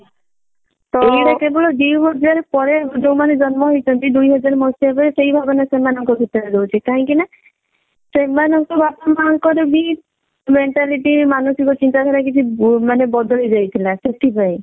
ସେଇଟା କେବଳ ଦୁଇ ହଜାର ପରେ ଯଉ ମାନେ ଜନ୍ମ ହେଇଛନ୍ତି ଦୁଇ ହଜାର ମସିହା ପରେ ସେଇ ଭାବନା ସେଇ ମାନଙ୍କ ଭିତରେ ରହୁଛି କାହିଁକି ନା ସେମାନଙ୍କ ବାପା ମାଆ ଙ୍କ ର ବି mentality ମାନସିକି ଚିନ୍ତାଧାରା କିଛି ମାନେ ବଦଳି ଯାଇଥିଲା ସେଥିପାଇଁ।